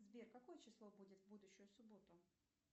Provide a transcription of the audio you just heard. сбер какое число будет в будущую субботу